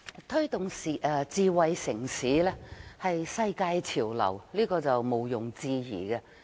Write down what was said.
推動智慧城市是世界潮流，這是毋庸置疑的。